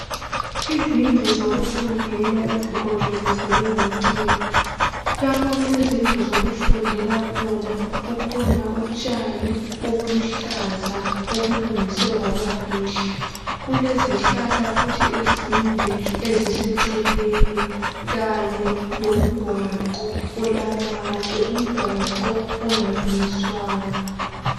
Izindlu zokufundela ezigonjolozelwe ngocingo. Lapho okulezindlu zokufundela khona, kukhona utshani obuluhlaza okulungiswe kwabakuhle. Kulezihlahla futhi ezinde eziseceleni kanye lomgwaqo olamatshe. Umgwago ongalungiswanga.